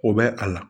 O bɛ a la